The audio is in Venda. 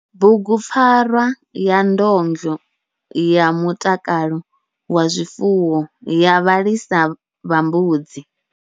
Bugupfarwa ya ndondo ya mutakalo ya zwifuwo ya vhalisa vha mbudzi.